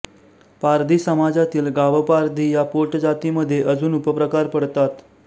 पारधी समाजातील गावपारधी या पोट जातीमधे अजून उपप्रकार पडतात